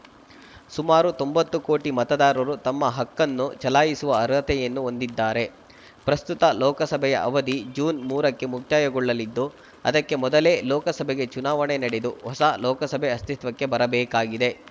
ಸುಮಾರು ತೊಂಬತ್ತು ಕೋಟಿ ಮತದಾರರು ತಮ್ಮ ಹಕ್ಕನ್ನು ಚಲಾಯಿಸುವ ಅರ್ಹತೆಯನ್ನು ಹೊಂದಿದ್ದಾರೆ ಪ್ರಸ್ತುತ ಲೋಕಸಭೆಯ ಅವಧಿ ಜೂನ್ ಮೂರಕ್ಕೆ ಮುಕ್ತಾಯಗೊಳ್ಳಲಿದ್ದು ಅದಕ್ಕೆ ಮೊದಲೇ ಲೋಕಸಭೆಗೆ ಚುನಾವಣೆ ನಡೆದು ಹೊಸ ಲೋಕಸಭೆ ಅಸ್ತಿತ್ವಕ್ಕೆ ಬರಬೇಕಾಗಿದೆ